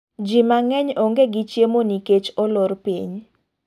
Ji mang'eny ong'e gi chiemo nikech olor piny.